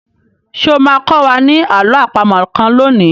Ṣé o máa kọ́ wa ní àló àpamọ̀ kan lónìí?